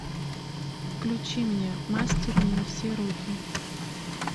включи мне мастер не на все руки